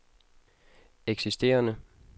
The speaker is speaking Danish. eksisterende